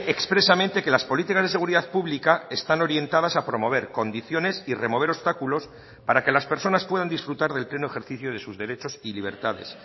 expresamente que las políticas de seguridad pública están orientadas a promover condiciones y remover obstáculos para que las personas puedan disfrutar del pleno ejercicio de sus derechos y libertades